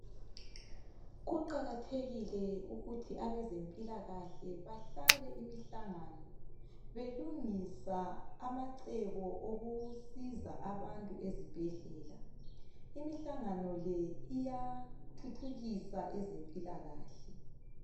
Kuqakathekile ukuthi abezempilakahle bahlale imihlangano belungisa amacebo okusiza abantu ezibhedlela imihlangano le iyathuthukisa ezempilakahle